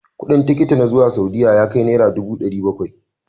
Kudin tikiti na zuwa Saudiya ya kai Naira dubu dari Bakwai.